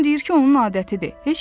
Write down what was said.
Anam deyir ki, onun adətidir.